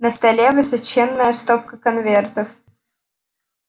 на столе высоченная стопка конвертов